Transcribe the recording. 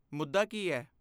ਮੁੱਦਾ ਕੀ ਹੈ?